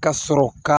Ka sɔrɔ ka